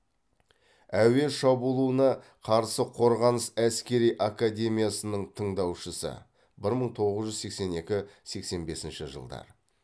әуе шабуылына қарсы қорғаныс әскери академиясының тыңдаушысы бір мың тоғыз жүз сексен екі сексен бесінші жылдар